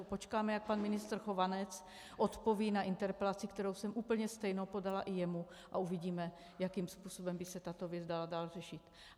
Počkáme, jak pan ministr Chovanec odpoví na interpelaci, kterou jsem úplně stejnou podala i jemu, a uvidíme, jakým způsobem by se tato věc dala dál řešit.